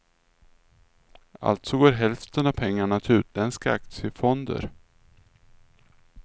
Alltså går hälften av pengarna till utländska aktiefonder.